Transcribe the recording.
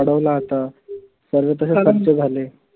वाढवलं आता सर्वे तसेच झाले.